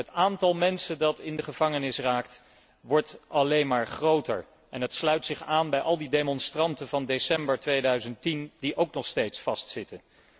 Het aantal mensen dat in de gevangenis raakt, wordt alleen maar groter en dat sluit zich aan bij al die demonstranten van december 2010 die ook nog steeds vastzitten.